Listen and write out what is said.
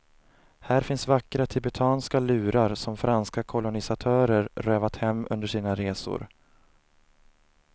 Här finns vackra tibetanska lurar som franska kolonisatörer rövat hem under sina resor.